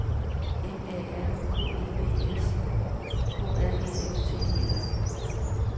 M A R K E D S K R Æ F T E R